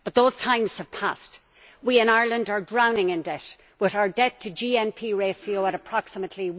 But those times have passed. We in Ireland are drowning in debt, with our debt to GNP ratio at approximately